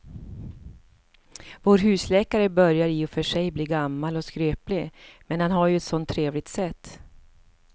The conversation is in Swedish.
Vår husläkare börjar i och för sig bli gammal och skröplig, men han har ju ett sådant trevligt sätt!